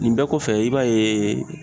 Nin bɛɛ kɔfɛ, i b'a yee